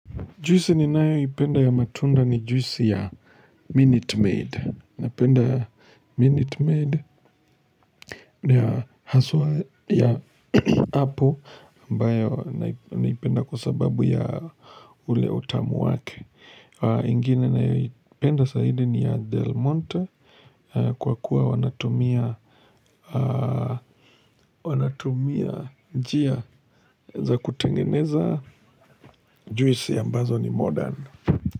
Juisi ninayoipenda ya matunda ni juisi ya Minute Maid. Napenda Minute Maid na ya haswa ya apple ambayo naipenda kwa sababu ya ule utamu wake. Ingine naipenda zaidi ni ya Del Monte kwa kuwa wanatumia wanatumia njia za kutengeneza juisi ambazo ni modern.